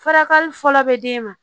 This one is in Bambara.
Furakɛli fɔlɔ bɛ d'e ma